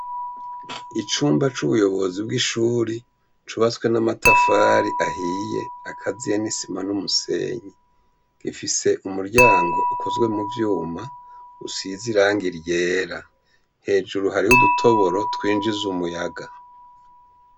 Icumba c'ubuyobozi bw'ishuri cubaswe n'amatafari ahiye akaziye nisima n'umusenyi gifise umuryango ukozwe mu vyuma usize irang iryera hejuru hariho udutoboro twinjize umuyaga.